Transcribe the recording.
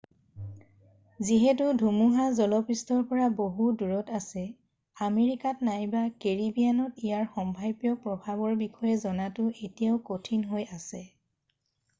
যিহেতু ধুমুহা স্থলপৃষ্ঠৰ পৰা বহু দূৰত আছে আমেৰিকাত নাইবা কেৰিবিয়ানত ইয়াৰ সম্ভাব্য প্ৰভাৱৰ বিষয়ে জনাটো এতিয়াও কঠিন হৈ আছে